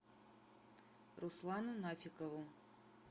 руслану нафикову